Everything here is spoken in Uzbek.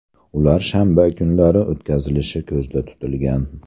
Ular shanba kunlari o‘tkazilishi ko‘zda tutilgan.